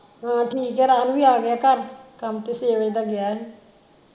ਹਾਂ ਠੀਕ ਆ ਰਾਹੁਲ ਵੀ ਆ ਗਿਆ ਘਰ ਕੰਮ ਤੇ ਛੇ ਵਜੇ ਦਾ ਗਿਆ ਹੀ